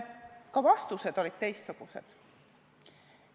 Ka vastused olid teistsugused.